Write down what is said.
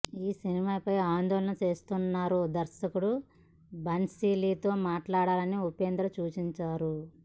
ఈ సినిమాపై ఆందోళన చేస్తున్నవారు దర్శకుడు భన్సాలీతో మాట్లాడాలని ఉపేంద్ర సూచించారు